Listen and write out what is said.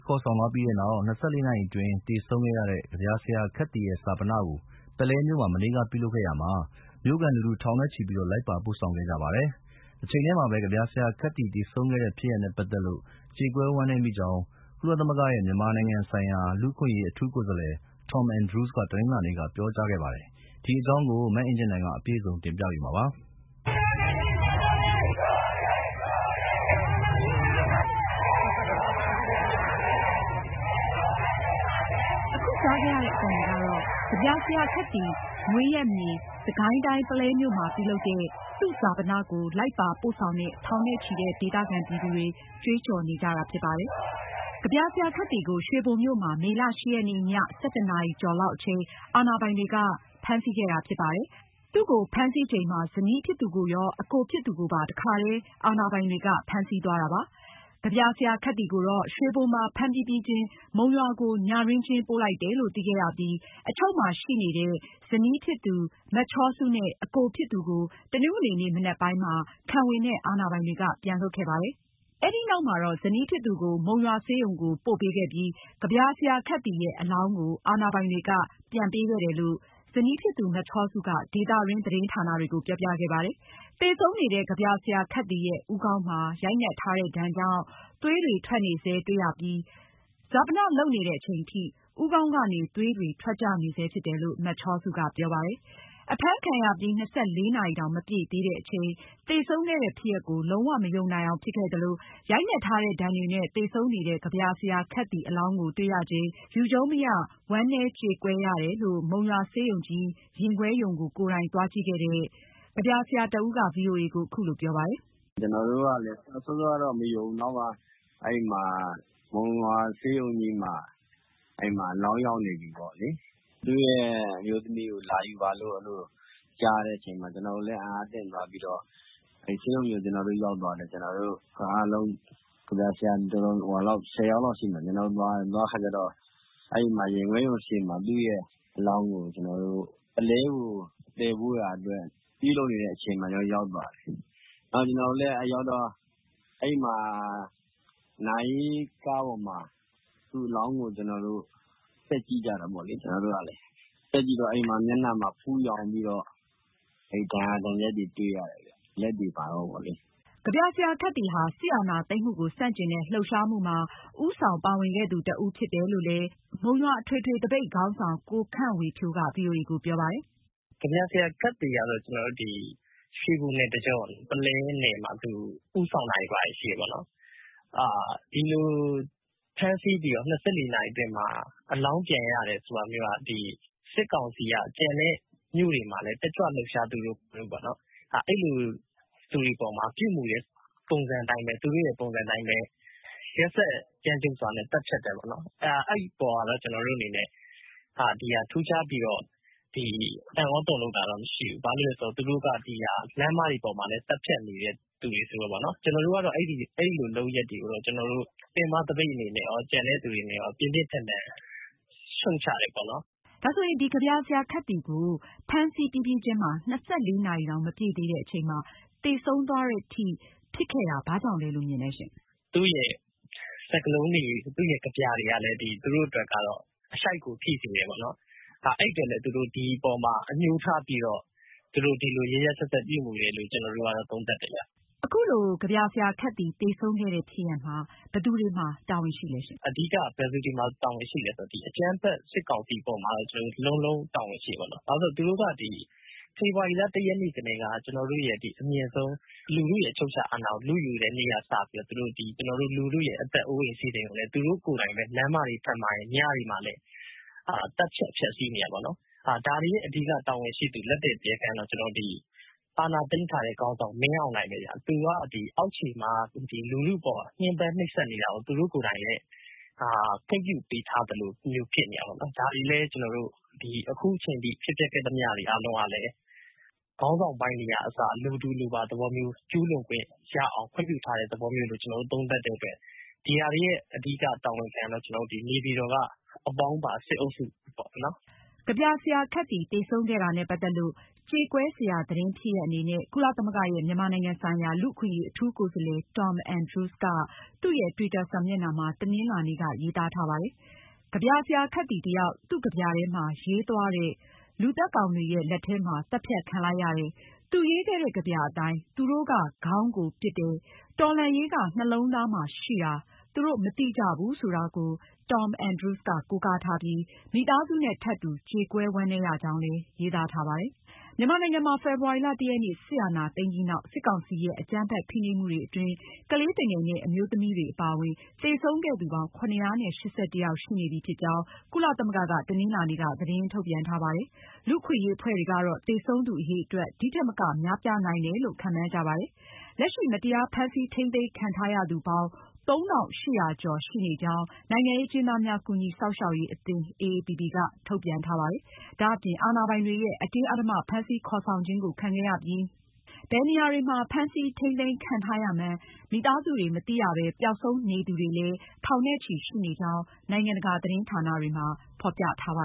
ခေါ်ဆောင်သွားပြီးနောက် ၂၄ နာရီအတွင်း သေဆုံးခဲ့တဲ့ ကဗျာဆရာ ခက်သီရဲ့ ဈာပန ကို ပုလဲမြို့မှာ မနေ့က ပြုလုပ်ခဲ့ရာမှာ မြို့ခံလူထု ထောင်နဲ့ချီ လိုက်ပါပို့ဆောင်ခဲ့ကြပါတယ်။ တချိန်တည်းမှာပဲ ကဗျာဆရာခက်သီ သေဆုံးခဲ့တဲ့ဖြစ်ရပ်နဲ့ ပတ်သက်လို့ ကြေကွဲဝမ်းနည်းမိကြောင်း ကုလသမဂ္ဂရဲ့ မြန်မာနိုင်ငံဆိုင်ရာ လူ့အခွင့်အရေး အထူးကိုယ်စားလှယ် Tom Andrews က တနင်္လာနေ့က ပြောကြားခဲ့ပါတယ်။ မအင်ကြင်းနိုင်က အပြည့်အစုံတင်ပြမှာပါ။ ကဗျာဆရာခက်သီရဲ့ မွေးရပ်မြေ စစ်ကိုင်းတိုင်း ပုလဲမြို့မှာ ပြုလုပ်တဲ့ သူ့ဈာပနကို ထောင်နဲ့ချီတဲ့ ဒေသခံပြည်သူတွေ လိုက်ပါပို့ဆောင်ခဲ့ကြပြီး စစ်ဏာရှင်စနစ်ကျဆုံးရေး ကြွေးကြော်ခဲ့ကြပါတယ်။ ကဗျာဆရာခက်သီကို ရွှေဘိုမြို့မှာ မေလ(၈) ရက်နေ့ ည ၁၁ နာရီကျော်လောက်အချိန် အာဏာပိုင်တွေက ဖမ်းဆီးခဲ့တာဖြစ်ပါတယ်။ သူ့ကို ဖမ်းဆီးချိန်မှာ ဇနီးဖြစ်သူရော၊ အကိုဖြစ်သူကိုပါ တခါတည်း အာဏာပိုင်တွေက ဖမ်းဆီးသွားတာပါ။ ကဗျာဆရာခက်သီကိုတော့ ရွှေဘိုမှာ ဖမ်းပြီးပြီးချင်း မုံရွာကို ညတွင်းချင်းပို့လိုက်တယ်လို့ သိခဲ့ရပြီး ရွှေဘိုရဲစခန်း အချုပ်မှာ ရှိနေတဲ့ ဇနီးနဲ့အကိုဖြစ်သူကို တနင်္ဂနွေနေ့ မနက်ပိုင်းမှာခံဝန်နဲ့ အာဏာပိုင်တွေက ပြန်လွှတ်ခဲ့တာပါ။ အဲဒီနောက် ဇနီးဖြစ်သူကို မုံရွာဆေးရုံကို ပို့ပေးခဲ့ပြီး ကဗျာဆရာခက်သီရဲ့ အလောင်းကို အာဏာပိုင်တွေက ပြန်ပေးခဲ့တယ်လို့ ဇနီးဖြစ်သူ မချောစုက ဒေသတွင်း သတင်းဌာနတွေကို ပြောပြခဲ့ပါတယ်။ သေဆုံးနေတဲ့ ကဗျာဆရာခက်သီရဲ့ ဦးခေါင်းမှာ ရိုက်နှက်ထားတဲ့ဒဏ်ကြောင့် သွေးတွေထွက်နေဆဲတွေ့ရပြီး ဈာပနာလုပ်နေတဲ့အချိန်ထိ ဦးခေါင်းကနေ သွေးတွေထွက်နေဆဲဖြစ်တယ်လို့ မချောစုက ပြောပါတယ်။ အဖမ်းခံရပြီး ၂၄ နာရီတောင်မပြည့်သေးတဲ့အချိန် သေဆုံးခဲ့တဲ့ဖြစ်ရပ်ကို လုံးဝမယုံနိုင်အောင် ဖြစ်ခဲ့သလို၊ ရိုက်နှက်ထားတဲ့ ဒဏ်တွေနဲ့ သေဆုံးနေတဲ့ ကဗျာဆရာ ခက်သီအလောင်းကို တွေ့ရချိန် ယူကျုံးမရ ဝမ်းနည်းကြေကွဲရတယ်လို့ မုံရွာဆေးရုံကြီး ရင်ခွဲရုံးကို ကိုယ်တိုင်သွားကြည့်ခဲ့တဲ့ မုံရွာ ကဗျာဆရာတဦးက ဗွီအိုအေကို အခုလိုပြောပါတယ်။ ”ကျနော်တို့ကလည်း စောစောပိုင်းတုန်းက မယုံဘူး။ နောက်မှ မုံရွာဆေးရုံကြီးမှာ အလောင်းရောက်နေပြီပေါ့လေ။ သူ့ရဲ့ အမျိုးသမီးကိုလာယူပါလို့ အဲဒီလို ကြားတဲ့အချိန်မှာ ကျနော်တို့လည်း အံ့သြသင့်သွားပြီးတော့ ကျနော်တို့လည်း ဆေးရုံကြီးကို ရောက်သွားတယ်။ ကျနော်တို့ ကဗျာဆရာအားလုံး (၁၀) ယောက်လောက်ရှိမယ်ထင်တယ်။ ကျနော်တို့သွားကြတယ်။ မုံရွာဆေးရုံကြီး ရင်ခွဲရုံရှေ့ သူ့ရဲ့အလောင်းကို ပုလဲကို သယ်ဖို့လုပ်နေတဲ့အချိန် ကျနော်တို့ ရောက်သွားတယ်။ နာရေးကားပေါ်မှာ သူ့အလောင်းကို ကျနော်တို့ တက်ကြည့်ကြတာပေါ့။ အဲဒီမှာ မျက်နှာမှာ ဖူးရောင်နေပြီတော့ ဒဏ်ရာဒဏ်ချက်တွေ တွေ့ရတယ်။” ကဗျာဆရာခက်သီဟာ စစ်အာဏာသိမ်းမှုကို ဆန့်ကျင်တဲ့ လှုပ်ရှားမှုမှာ ဦးဆောင်ပါဝင်ခဲ့သူတဦးဖြစ်တယ်လို့ မုံရွာပင်မသပိတ်ခေါင်းဆောင် ကို ခန့်ဝေဖြိုးက ဗွီအိုအေကို ပြောပါတယ်။ ”ကဗျာဆရာခက်သီဟာ ရွှေဘိုနယ်တကြော၊ ပုလဲနယ်မှာ သူဦးဆောင်တာတွေရှိပါတယ်။ ဒီလိုဖမ်းဆီးပြီးတော့ (၂၄)နာရီအတွင်းမှာ အလောင်းပြန်ရတယ်ဆိုတာမျိုးက စစ်ကောင်စီက ကျန်တဲ့မြို့တွေမှာလည်း တက်ကြွလှုပ်ရှားသူတွေပေါ်မှာ ပြုမူတဲ့ သူတို့ရဲ့ ပုံစံအတိုင်းပဲ။ ရက်စက်ကြမ်းကြုတ်စွာနဲ့ သတ်ဖြတ်တယ်။ ဒီအပေါ်မှာတော့ ထူးခြားပြီးတော့ အံ့သြတုန်လှုပ်တာတော့ မရှိဘူး။ ဘာလို့လည်းဆိုတော့ သူတို့က လမ်းမတွေပေါ်မှာလည်း သတ်ဖြတ်နေတဲ့သူတွေဆိုတော့ ကျနော်တို့ကတော့ အဲဒီလို လုပ်ရပ်တွေကို ပင်မသပိတ်အနေနဲ့ရော၊ ကျန်တဲ့ သူတွေအနေနဲ့ရော ပြင်းပြင်းထန်ထန် ရှုတ်ချပါတယ်။ အင်ကြင်းနိုင်။ ။ ကဗျာဆရာခက်သီကို ဖမ်း ဆီးပြီးပြီးချင်း ၂၄ နာရီတောင်မပြည့်သေးတဲ့အချိန်မှာ သေဆုံးသွားတဲ့အထိ ဖြစ်ခဲ့တာ ဘာကြောင့်လို့ မြင်လဲရှင့်။ ကိုခန့်ဝေဖြိုး ။ ။ သူ့ရဲ့ စကားလုံးတွေ၊ ကဗျာတွေကလည်း သူတို့အတွက် အရှိုက်ကို ထိစေပါတယ်။ အဲဒီအတွက်လည်း ဒီအပေါ်မှာ အညှိုးထားပြီး သူတို့ ဒီလိုရက်ရက်စက်စက်ပြုမူတယ်လို့ ကျနော်တို့က သုံးသပ်တယ်ဗျ။ အင်ကြင်းနိုင်။ ။ အခု လို ကဗျာဆရာခက်သီ သေဆုံးခဲ့တဲ့ ဖြစ်ရပ်မှာ ဘယ်သူတွေမှာ တာဝန်ရှိလဲ။ ကိုခန့်ဝေဖြိုး ။ ။ အဓိက ဘယ်သူတွေမှာ တာဝန်ရှိလည်းဆိုတော့ အကြမ်းဖက်စစ်ကောင်စီမှာ လုံးဝတာဝန်ရှိပါတယ်။ ဘာကြောင့်လဲဆိုရင် ဖေဖေါ်ဝါရီလ (၁)ရက်နေ့ကတည်းက အမြင့်ဆုံးလူထုရဲ့ အချုပ်အချာအာဏာကို လုယူတဲ့နေ့ကစပြီး သူတို့ကိုယ်တိုင် လူထုရဲ့ အသက်အိုးအိမ်စည်းစိမ်တွေကို ဖျက်စီး၊ လူတွေကို လမ်းမတွေ၊ ညအချိန်တွေမှာ ဖမ်းဆီးသတ်ဖြတ်နေတာပါ။ ဒါတွေရဲ့ အဓိကတာဝန်ရှိသူ လက်သည်းတရားခံကတော့ အာဏာသိမ်းထားတဲ့ခေါင်းဆောင် မင်းအောင်လှိုင်ပဲဗျ။ သူက အောက်ခြေမှာ လူထုအပေါ် ညှင်းပမ်းနှိပ်စက်နေတာကို သူတို့ကိုယ်တိုင်လည်း ခွင့်ပြုထားသလိုဖြစ်နေတာပါ။ အခုချိန်ထိ ဖြစ်ပျက်ခဲ့သမျှအားလုံး ခေါင်းဆောင်ပိုင်းတွေကအစ အလိုတူအလိုပါ ကျူးလွန်ခွင့်ရအောင် ခွင့်ပြုထားတဲ့ သဘောမျိုးလို့ ကျနော်တို့ သုံးသပ်တဲ့အတွက် အဓိကတာဝန်ခံကတော့ နေပြည်တော်က အပေါင်းပါ စစ်အုပ်စုပါပဲ။ ကဗျာဆရာခက်သီ သေဆုံးခဲ့တဲ့ဖြစ်ရပ်နဲ့ ပတ်သက်လို့လည်း ကြေကွဲစရာသတင်းအနေနဲ့ ကုလသမဂ္ဂရဲ့ မြန်မာနိုင်ငံဆိုင်ရာ လူ့အခွင့်အရေး အထူးကိုယ်စားလှယ် Tom Andrews ကနေ သူ့ရဲ့ တွစ်တာစာမျက်နှာမှာ တနင်္လာနေ့က ရေးသားထားပါတယ်။ ကဗျာဆရာခက်သီတယောက် သူ့ကဗျာထဲမှာ ရေးသွားတဲ့ လူသတ်ကောင်တွေရဲ့ လက်ထဲမှာ သတ်ဖြတ်ခံလိုက်ရတယ်၊ သူရေးခဲ့ကဗျာအတိုင်း ”သူတို့က ခေါင်းကိုပစ်တယ်၊ တော်လှန်ရေးက နှလုံးသားမှာရှိတာ သူတို့ မသိကြဘူး” ဆိုတဲ့ကဗျာစာသားကိုလည်း Tom Andrews က ကိုးကားထားပြီး မိသားစုနဲ့ ထပ်တူ ကြေကွဲဝမ်းနည်းရကြောင်းလည်း ရေးသားထားပါတယ်။ မြန်မာနိုင်ငံမှာ ဖေဖေါ်ဝါရီလ (၁)ရက်နေ့ စစ်အာဏာသိမ်းပြီးနောက် စစ်ကောင်စီရဲ့ အကြမ်းဖက် ဖိနှိပ်မှုတွေအတွင်း ကလေးသူငယ်နဲ့အမျိုးသမီးတွေအပါအဝင် သေဆုံးခဲ့သူပေါင်း (၇၈၁) ယောက်ရှိနေပြီဖြစ်ကြောင်း ကုလသမဂ္ဂက တနင်္လာနေ့က သတင်းထုတ်ပြန်ထားပါတယ်။ လူ့အခွင့်အရေးအဖွဲ့တွေကတော့ သေဆုံးသူအရေအတွက် ဒီထက်မက များပြားနိုင်တယ်လို့ ခန့်မှန်းကြပါတယ်။ လက်ရှိ မတရားဖမ်းဆီးထိန်းသိမ်းခံထားရသူပေါင်း ၃၈၀၀ ကျော်ရှိနေကြောင်း နိုင်ငံရေးအကျဉ်းသားများကူညီစောင့်ရှောက်ရေးအသင်း အေအေပီပီက ထုတ်ပြန်ထားပါတယ်။ ဒါအပြင် အာဏာပိုင်တွေရဲ့ အတင်းအဓမ္မ ဖမ်းဆီးခေါ်ဆောင်ခြင်းကို ခံခဲ့ရပြီးဘယ်နေရာတွေမှာ ဖမ်းဆီးထိန်းသိမ်းခံထားရမှန်း မိသားစုတွေမသိရပဲပျောက်ဆုံးနေသူတွေလည်း ထောင်နဲ့ချီရှိနေကြောင်း နိုင်ငံတကာသတင်းဌာနတွေမှာ ဖေါ်ပြထားပါ